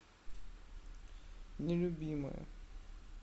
нелюбимая